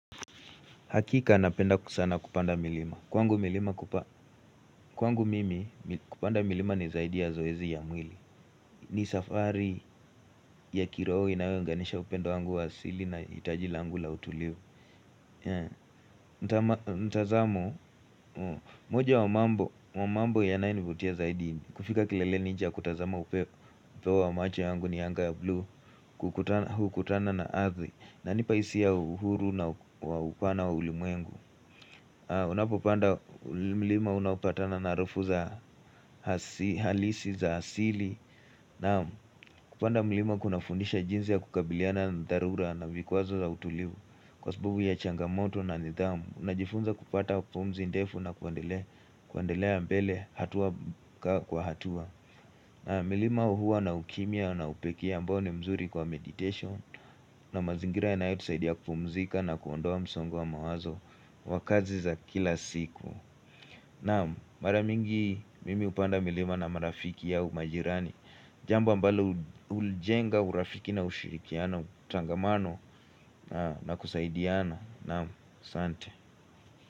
Hakika napenda sana kupanda milima. Kwangu mimi kupanda milima ni zaidi ya zoezi ya mwili. Ni safari ya kiroho inayounganisha upendo wangu wa asili na itaji langu la utulivu. Mtazamo, moja wa mambo yanayonivutia zaidi. Kufika kileleni cha kutazama upeo wa macho yangu ni anga ya blue hukutana na adhi. Inanipa isia ya uhuru na upana wa ulimuengu. Unapopanda milima unapatana na harufu za halisi za asili Naam, kupanda milima kunafundisha jinsi ya kukabiliana na dharura na vikwazo za utulivu Kwa sababu ya changamoto na nidhamu Unajifunza kupata pumzi ndefu na kuendelea mbele hatua kwa hatua na milima hua na ukimya na upekee ambao ni mzuri kwa meditation na mazingira yanayotusaidia kupumzika na kuondoa msongo wa mawazo wakazi za kila siku Naam mara mingi mimi hupanda milima na marafiki au majirani Jamba ambalo uljenga, urafiki na ushirikiano, utangamano na kusaidiana Naam asante.